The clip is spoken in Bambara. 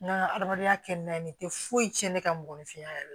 N ka adamadenya kɛ n'a ye nin tɛ foyi tiɲɛ ne ka mɔgɔninfinya yɛrɛ la